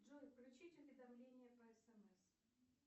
джой включить уведомление по смс